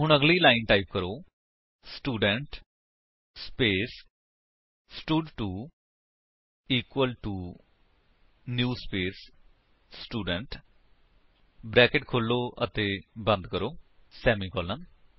ਹੁਣ ਅਗਲੀ line type ਕਰੋ student space stud two equal to new space student brackets ਖੋਲੋ ਅਤੇ ਬੰਦ ਕਰੋ ਸੇਮੀਕਾਲਨ